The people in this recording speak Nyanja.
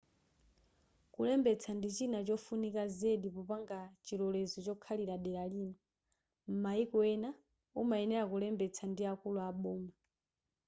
kulembetsa ndi china chofunikira zedi popanga chilolezo chokhalira dera lina m'maiko ena umayenera kulembetsa ndi akulu aboma